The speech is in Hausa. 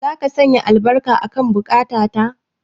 Zaka sanya albarka akan buƙata ta.